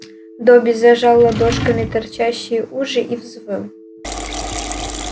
добби зажал ладошками торчащие уши и взвыл